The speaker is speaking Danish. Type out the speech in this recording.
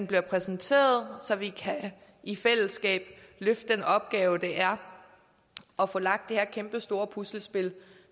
bliver præsenteret så vi i fællesskab kan løfte den opgave det er at få lagt det her kæmpestore puslespil